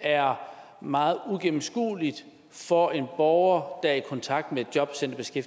er meget uigennemskueligt for en borger der er i kontakt med et jobcenteret